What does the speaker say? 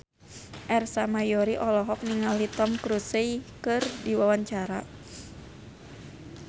Ersa Mayori olohok ningali Tom Cruise keur diwawancara